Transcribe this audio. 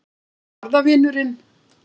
Já, hvað var það, vinurinn?